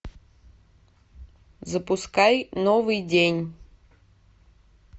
запускай новый день